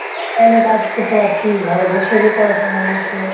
কাজ করতে পারছি ঘরে বস থেকে করা সম্ভব হচ্ছে,